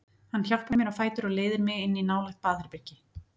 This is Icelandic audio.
Hann hjálpar mér á fætur og leiðir mig inn í nálægt baðherbergi.